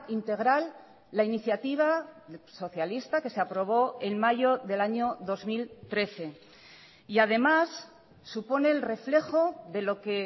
integral la iniciativa socialista que se aprobó en mayo del año dos mil trece y además supone el reflejo de lo que